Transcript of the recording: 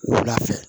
Wula fɛ